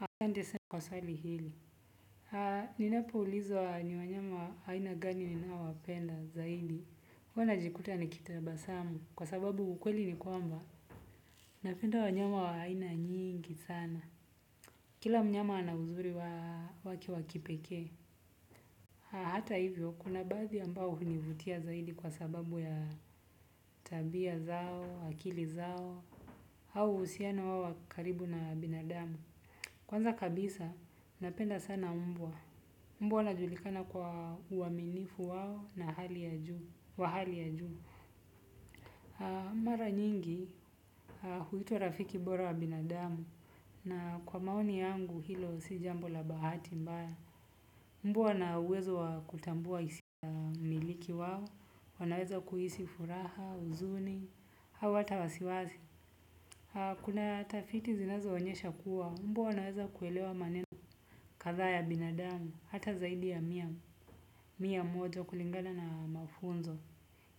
Asante sana kwa swali hili. Ni napoulizwa ni wanyama wa aina gani ninaowapenda zaidi, huwa najikuta nikitabasamu kwa sababu ukweli ni kwamba. Napenda wanyama wa aina nyingi sana. Kila mnyama ana uzuri wake wa kipekee. Hata hivyo kuna baadhi ambao hunivutia zaidi kwa sababu ya tabia zao, akili zao. Au uhusiano wao wa karibu na binadamu. Kwanza kabisa, napenda sana mbwa. Mbwa anajulikana kwa uaminifu wao na hali ya juu, wa hali ya juu. Mara nyingi, huitwa rafiki bora wa binadamu. Na kwa maoni yangu, hilo si jambo la bahati mbaya. Mbwa ana uwezo wa kutambua hisia miliki wao. Wanaweza kuhisi furaha, huzuni, au hata wasiwasi. Kuna taafiti zinazoonyesha kuwa. Mbwa wanaweza kuelewa maneno kadhaa ya binadamu. Hata zaidi ya mia, mia moja kulingana na mafunzo.